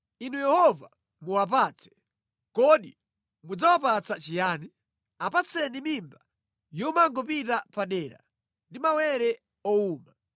Inu Yehova, muwapatse. Kodi mudzawapatsa chiyani? Apatseni mimba yomangopita padera ndi mawere owuma.